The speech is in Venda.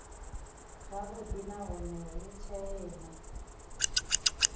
zwavhudi nahone hu tshee na